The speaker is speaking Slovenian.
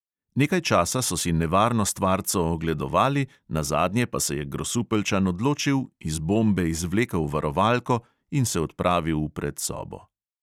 Nekaj časa so si nevarno stvarco ogledovali, nazadnje pa se je grosupeljčan odločil, iz bombe izvlekel varovalko in se odpravil v predsobo.